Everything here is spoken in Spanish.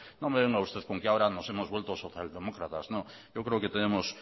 no me venga usted con que ahora nos hemos vuelto socialdemócratas no yo creo que tenemos